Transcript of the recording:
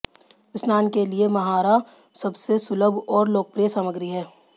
स्नान के लिए महारा सबसे सुलभ और लोकप्रिय सामग्री है